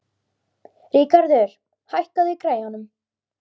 Ríkarður, hækkaðu í græjunum.